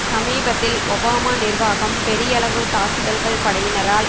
சமீபத்தில் ஒபாமா நிர்வாகம் பெரியளவு தாக்குதல்கள் படையினரால்